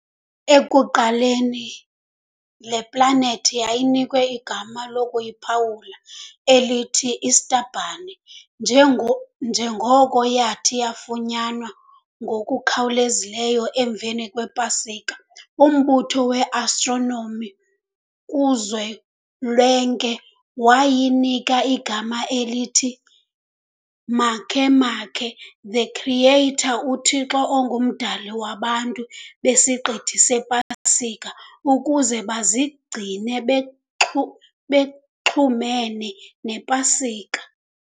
Ekuqaleni le-planet yayinikwe igama lokuyiphawula elithi 'Easterbunny' njengo njengoko yathi yafunyanwa ngokukhawuleza emva kwePasika. umbutho weAstronomi kuzolwenke wayinika igama elithi Makemake, the creator uthixo ongumdali wabantu besiqithi sePasika, ukuze bazigcine bexhu bexhumene nePasika.